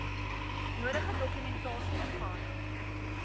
nodige dokumentasie ingehandig